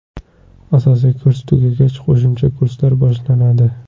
Asosiy kurs tugagach, qo‘shimcha kurslar boshlanadi.